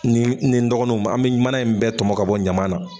N ni n ni n dɔgɔninw an be mana in bɛɛ tɔmɔ k'a bɔ ɲama na